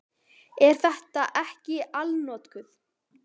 Er þetta ekki allnokkuð?